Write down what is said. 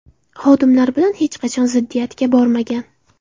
Xodimlar bilan hech qachon ziddiyatga bormagan.